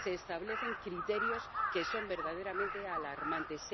se establecen criterios que son verdaderamente alarmantes